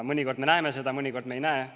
Mõnikord me näeme seda ja mõnikord ei näe.